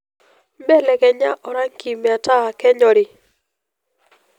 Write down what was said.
belekenya orangi metaa kenyori